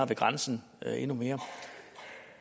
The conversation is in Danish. ved grænsen endnu mere